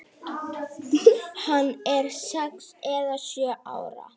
Hann er sex eða sjö ára.